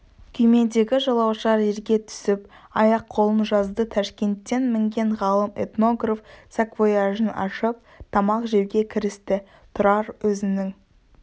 күймедегі жолаушылар жерге түсіп аяқ-қолын жазды ташкенттен мінген ғалым-этнограф саквояжын ашып тамақ жеуге кірісті тұрар өзінің